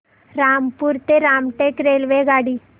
नागपूर ते रामटेक रेल्वेगाडी